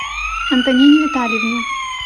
антонине витальевне